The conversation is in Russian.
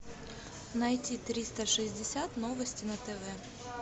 найти триста шестьдесят новости на тв